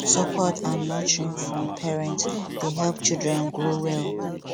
support and nurturing from parents dey help children grow well